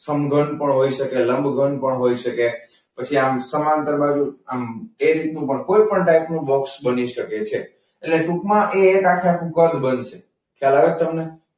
સમઘન પણ હોઈ શકે, લંબઘન પણ હોઈ શકે. પછી આમ સમાંતર બાજુ આમ એ રીતનું પણ કોઈ પણ ટાઈપનું બોક્સ બની શકે છે. એટલે ટૂંકમાં એ આખેઆખું કદ બનશે. ખ્યાલ આવે છે તમને?